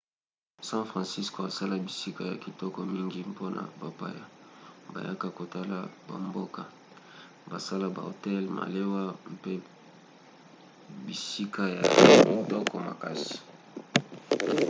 san francisco asala bisika ya kitoko mingi mpona bapaya bayaka kotala bamboka; basala bahotel malewa mpe bisika ya kitoko makasi